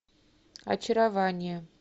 очарование